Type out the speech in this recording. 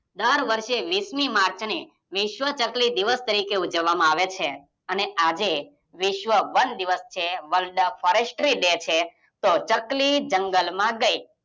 દર વર્ષે વિસમી માર્ચને વિસ્વ ચકલી દિવસ તરીકે ઉજવામાં આવે છે. અને આજે વિશ્વ વન દિવસ છે. વર્લ્ડ ફોરેસ્ટ્રી ડે છે. ચકલી જંગલ માં ગયી.